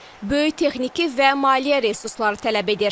Böyük texniki və maliyyə resursları tələb edir.